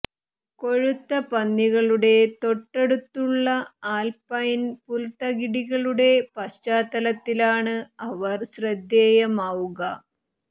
കൊഴുത്ത പന്നികളുടെ തൊട്ടടുത്തുള്ള ആൽപൈൻ പുൽത്തകിടികളുടെ പശ്ചാത്തലത്തിലാണ് അവർ ശ്രദ്ധേയമാവുക